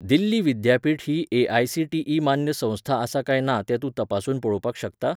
दिल्ली विद्यापीठ ही ए.आय.सी.टी.ई. मान्य संस्था आसा काय ना तें तूं तपासून पळोवपाक शकता?